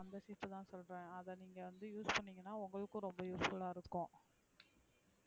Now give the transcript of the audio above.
அந்த சீப்பு தான் சொல்றேன் அத நீங்க வந்து use பண்ணிகனா உங்களுக்கும்ரொம்ப useful அ இருக்கும்,